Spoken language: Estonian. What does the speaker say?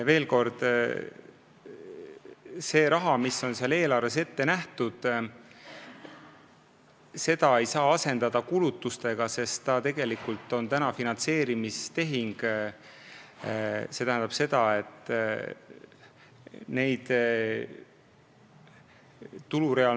Veel kord: seda raha, mis on eelarves selleks ette nähtud, ei saa pidada kulutuseks – see on tegelikult finantseerimistehing.